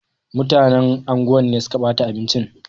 Mutanen anguwan ne suka bata abinci.